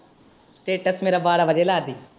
Status ਮੇਰਾ ਬਾਰਾਂ ਵਜੇ ਲਾ ਦੀਂ।